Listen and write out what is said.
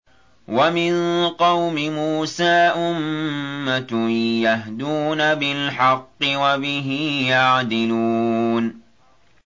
وَمِن قَوْمِ مُوسَىٰ أُمَّةٌ يَهْدُونَ بِالْحَقِّ وَبِهِ يَعْدِلُونَ